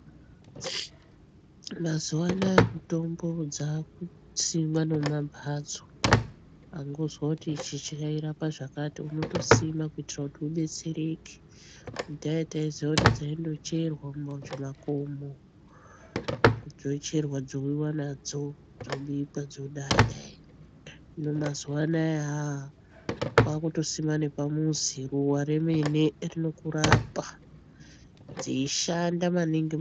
Mazuva anaya mitombo dzakusimwa nemumamhatso angozwa kuti ichi chairapa zvakati unotosima kuitira kuti ubetsereke. Kudhaya taiziya kuti dzaindocherwa mumakomo dzocherwa dzouyiva nadzo dzobikwa dzodai-dai. Hino mazuva anaya haa kwakutosima nepamuzi ruva remene rinokurapa dzeishanda maningi.